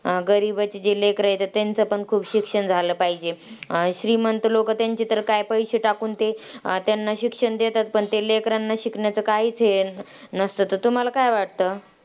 अं गरीबाची जे लेकरं आहेत त्यांचं पण खूप शिक्षण झालं पाहिजे, अं श्रीमंत लोकं त्यांचे तर काय, पैसे टाकून ते त्यांना शिक्षण देतात. पण ते लेकरांना शिकण्याचं काहीच हे नसतं, तर तुम्हाला काय वाटतं?